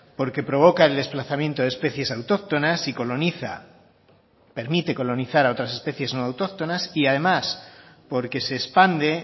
porque provoca el desplazamiento de especies autóctonas y coloniza permite colonizar a otras especies no autóctonas y además porque se expande